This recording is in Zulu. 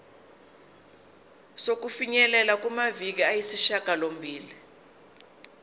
sokufinyelela kumaviki ayisishagalombili